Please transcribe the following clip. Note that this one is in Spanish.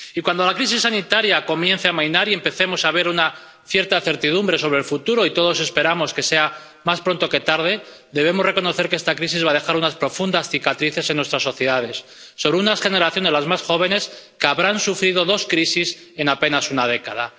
Y cuando la crisis sanitaria comience a amainar y empecemos a ver una cierta certidumbre sobre el futuro —y todos esperamos que sea más pronto que tarde—, debemos reconocer que esta crisis va a dejar unas profundas cicatrices en nuestras sociedades, sobre unas generaciones, las más jóvenes, que habrán sufrido dos crisis en apenas una década.